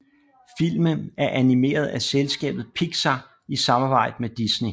Filmen er animeret af selskabet Pixar i samarbejde med Disney